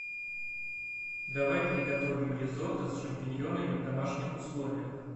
давай приготовим ризотто с шампиньонами в домашних условиях